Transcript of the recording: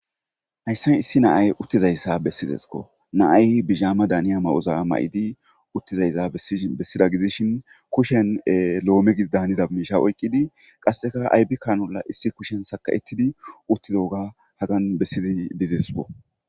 Haysi issi na'ay utti dizaysa besidesko, na'ay bijama daniyaysa mayoza mayidi uttidaysa besida gidishni,kushen loome daniza miisha oykid qaseka ayfe kanula issi kushen saka'etidi utidoga hagani besidi didesko.